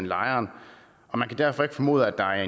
lejeren og man kan derfor ikke formode at der er